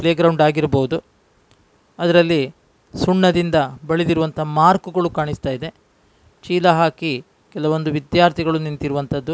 Play ground ಆಗಿರ್ಬಹುದು. ಅದ್ರಲ್ಲಿ ಸುಣ್ಣದಿಂದ ಬಳಿದಿರುವಂಥ ಮಾರ್ಕ್ ಗಳು ಕಾಣಿಸ್ತಾ ಇದೆ. ಚೀಲ ಹಾಕಿ. ಕೆಲವೊಂದು ವಿದ್ಯಾರ್ಥಿಗಳು ನಿಂತಿರುವಂಥದು --